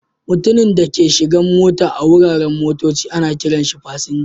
Mutumin da ke shigan mota a wuraren motocci ana kiran shi" fasinja".